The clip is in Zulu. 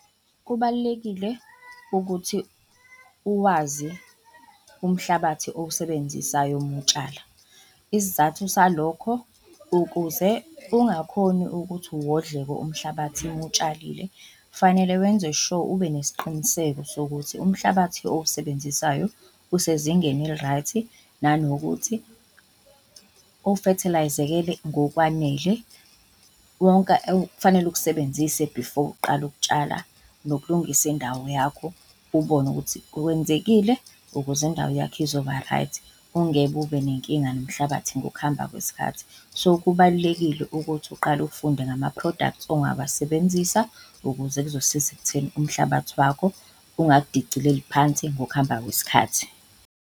Kubalulekile ukuthi uwazi umhlabathi owusebenzisayo uma utshala. Isizathu salokho, ukuze ungakhoni ukuthi uwodloke umhlabathi uma utshalile, kufanele wenze sure ube nesiqiniseko sokuthi umhlabathi owusebenzisayo usezingeni eli-right nanokuthi ofethelayizekile ngokwanele. Wonke okufanele ukusebenzise before uqale ukutshala nokulungisa indawo yakho ubone ukuthi kwenzekile ukuze indawo yakho izoba-right, ungeke ube nenkinga nomhlabathi ngokuhamba kwesikhathi. So, kubalulekile ukuthi uqale ufunde ngama-products ongawasebenzisa ukuze kuzosiza ekutheni umhlabathi wakho ungakudicileli phansi ngokuhamba kwesikhathi.